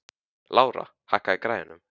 Lára, hækkaðu í græjunum.